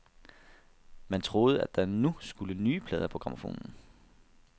Man troede, at der nu skulle nye plader på grammofonen.